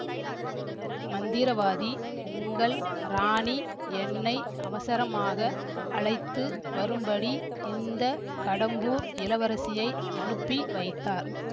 மந்திரவாதி உங்கள் ராணி என்னை அவசரமாக அழைத்து வரும்படி இந்த கடம்பூர் இளவரசியை அனுப்பி வைத்தார்